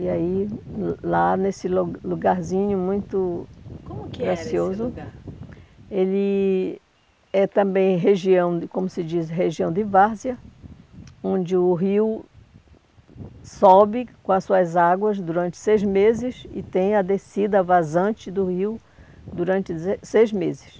E aí, lá nesse lugar lugarzinho muito, como que era esse lugar? gracioso, ele é também região, como se diz, região de várzea, onde o rio sobe com as suas águas durante seis meses e tem a descida vazante do rio durante se seis meses.